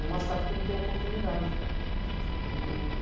E é uma cidade que não tem oportunidade.